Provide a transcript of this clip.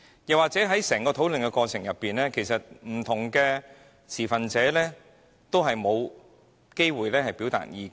況且在整個討論過程中，不同持份者也沒有機會表達意見。